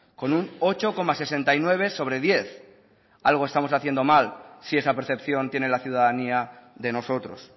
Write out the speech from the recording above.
con un ocho coma sesenta y nueve sobre diez algo estamos haciendo mal si esa percepción tiene la ciudadanía de nosotros